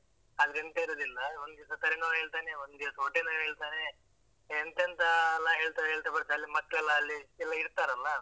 ಆದ್ರೆ ಎಂತ ಇರುದಿಲ್ಲ ಒಂದ್ ದಿವ್ಸ ತಲೆನೋವ್ ಹೇಳ್ತಾನೆ ಒಂದ್ ದಿವ್ಸ ಹೊಟ್ಟೆ ನೋವ್ ಹೇಳ್ತಾನೆ. ಎಂತ ಎಂತೆಲ್ಲಾ ಹೇಳ್ತಾ ಹೇಳ್ತಾ ಬರ್ತಾನೆ, ಅಲ್ಲಿ ಮಕ್ಕಳೆಲ್ಲ ಅಲ್ಲಿ ಎಲ್ಲ ಇರ್ತಾರಲ್ಲಾ?